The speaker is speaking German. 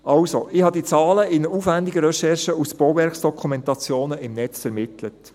Also: Ich habe diese Zahlen in aufwendiger Recherche aus Bauwerksdokumentationen im Netz ermittelt.